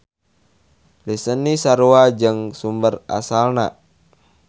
Lisensi sarua jeung sumber asalna.